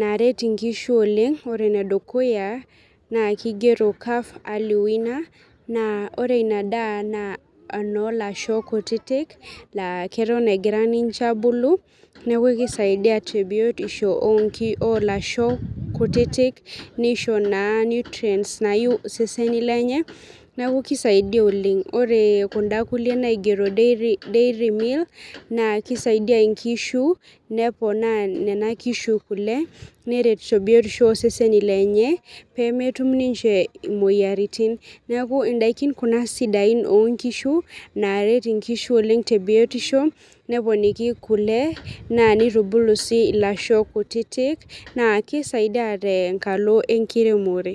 naret inkishu oleng ore enedukuya naa kigero calf early winner naa ore ina daa naa enoo lasho kutitik laa keton egira ninche abulu neku kisaidia tebiotisho onki olasho kutitik nisho naa nutrients nayieu iseseni lenye neku kisaidia oleng ore kunda kulie naigero dairy meal naa kisaidia inkishu neponaa nena kishu kule neret tebiotisho oseseni lenye pemetum ninche imoyiaritin neku indaiki kuna sidain onkishu naaret inkishu oleng tebiotisho neponiki kule naa nitubulu sii ilasho kutitik naa kisaidia tenkalo enkiremore.